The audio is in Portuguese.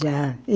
Já.